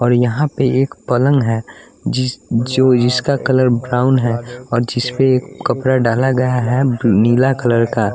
और यहाँ पे एक पलंग है जिस जो जिसका कलर ब्राउन है और जिस पे एक कपड़ा डाला गया हैब अ नीला कलर का।